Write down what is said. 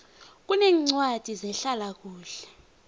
kuneencwadi zehlala kuhle